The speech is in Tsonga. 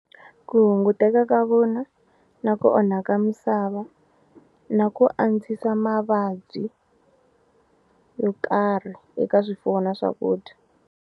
Ku hunguteka ka vona na ku onhaka misava na ku antswisa mavabyi yo karhi eka swifuwo na swakudya.